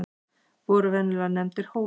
voru venjulega nefndir hólar